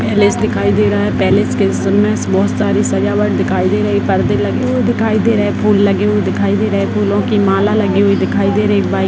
palace दिखाई दे रहा है पैलेस के हिस्से में बहुत सारी सजावट दिखाई दे रही है परदे लगे हुए दिखाई दे रहे है फूल लगे हुए दिखाई दे रहे है फूलों की माला लगी हुई दिखाई दे रही है बा --